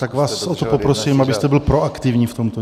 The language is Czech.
Tak vás o to poprosím, abyste byl proaktivní v tomto.